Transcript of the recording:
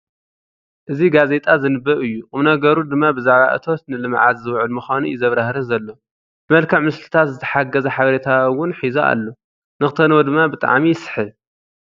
እዚ ጋዜጣ ዝንበብ እዩ ቑም ነገሩ ድማ ብዛዕባ እቶት ንልምዓት ዝውዕል ምዃኑ እዩ ዘብራህርህ ዘሎ ፡ብመልክዕ ምስልታት ዝተሓገዘ ሓበሬታ'ው ሒዙ ኣሎ ንኽተንብቦ ድማ ብጣዕሚ ይስሕብ ።